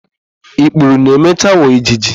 Ikpuru na-emecha ghọọ ijiji.